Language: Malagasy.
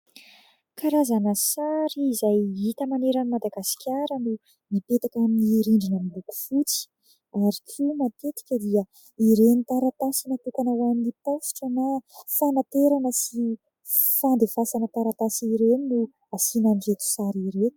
Karazana sary izay hita manerana any Madagasikara no nipetaka amin'ny rindrina miloko fotsy ary toa matetrika dia iren'ny taratasy natokana ho an'ny pasitra na fanaterana sy fandefasana taratasy ireny no afoanan'ny seki sary ireo